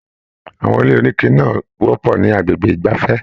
Àwọn ilé onike náà wọpọ ni agbègbè igbafẹ̀.